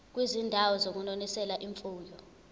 kwizindawo zokunonisela imfuyo